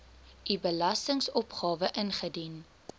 u belastingopgawe ingedien